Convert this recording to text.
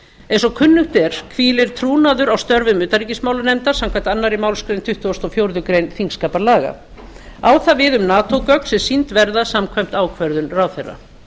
eins og kunnugt er hvílir trúnaður á störfum utanríkismálanefndar samkvæmt annarri málsgrein tuttugustu og fjórðu greinar þingskapalaga á það við um nato gögn sem sýnd verða samkvæmt ákvörðun ráðherra